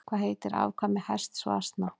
Hvað heitir afkvæmi hests og asna?